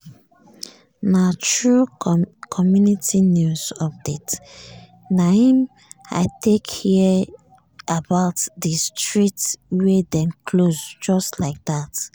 na through community news update naim i take hear about di street wey dem close just like dat.